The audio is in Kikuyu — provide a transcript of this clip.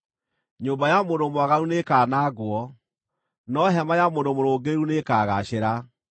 Nyũmba ya mũndũ mwaganu nĩĩkanangwo, no hema ya mũndũ mũrũngĩrĩru nĩĩkagaacĩra.